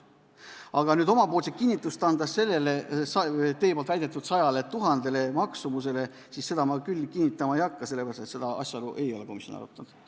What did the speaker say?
Aga oma kinnitust sellele teie väidetud maksumusele, 100 000, ma küll andma ei hakka, sest seda asjaolu ei ole komisjon arutanud.